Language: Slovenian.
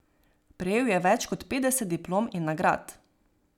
Prejel je več kot petdeset diplom in nagrad.